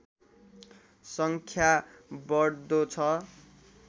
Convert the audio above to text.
सङ्ख्या बढ्दो छ